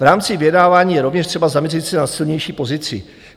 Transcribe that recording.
V rámci vyjednávání je rovněž třeba zaměřit se na silnější pozici."